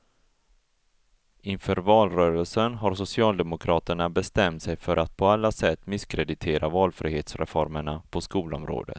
Inför valrörelsen har socialdemokraterna bestämt sig för att på alla sätt misskreditera valfrihetsreformerna på skolområdet.